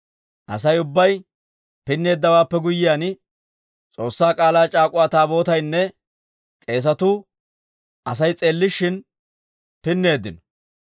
Asay ubbay pinneeddawaappe guyyiyaan, S'oossaa K'aalaa c'aak'uwaa Taabootaynne k'eesatuu Asay s'eellishin pinneeddino.